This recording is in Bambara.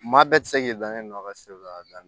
Maa bɛɛ ti se k'i dan ne nɔ ka si a dan na